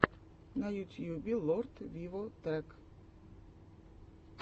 на ютьюбе лорд виво трек